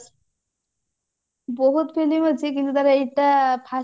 ବହୁତ film ଅଛି କିନ୍ତୁ ତାର ଏଟା first